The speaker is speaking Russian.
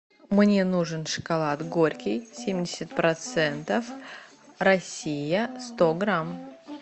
мне нужен шоколад горький семьдесят процентов россия сто грамм